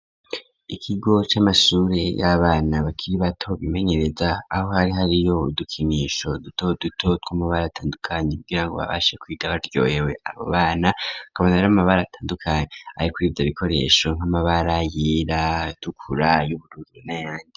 Ikigo c'amashure yabana bakiri bato bimenyereza aho hari hariyo udukinisho duto duto tw'amabara atandukanye kugira ngo babashe kwiga baryohewe abo bana hakaba hari amabara atandukanye ari kuri ivyo bikoresho nk'amabara yera ,atukura ayubururu ,nayandi.